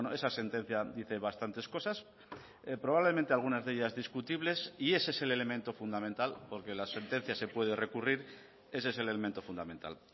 esa sentencia dice bastantes cosas probablemente algunas de ellas discutibles y ese es el elemento fundamental porque la sentencia se puede recurrir ese es el elemento fundamental